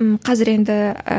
м қазір енді і